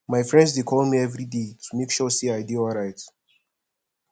my friends dey call me everyday to make sure sey i dey alright